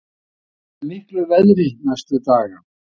Spáð er mildu veðri næstu daga